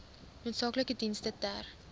noodsaaklike dienste ter